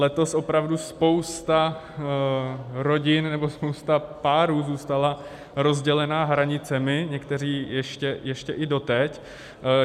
Letos opravdu spousta rodin nebo spousta párů zůstala rozdělena hranicemi, někteří ještě i doteď.